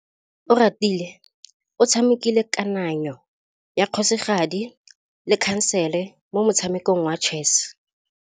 Oratile o tshamekile kananyô ya kgosigadi le khasêlê mo motshamekong wa chess.